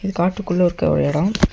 இது காட்டுக்குள்ள இருக்க ஒரு எடொ.